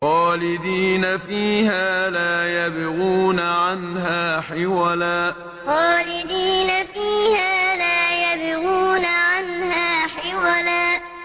خَالِدِينَ فِيهَا لَا يَبْغُونَ عَنْهَا حِوَلًا خَالِدِينَ فِيهَا لَا يَبْغُونَ عَنْهَا حِوَلًا